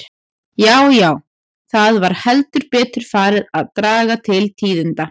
Já, já, það var heldur betur farið að draga til tíðinda!